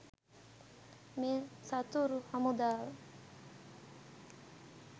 මේ සතුරු හමුදාව.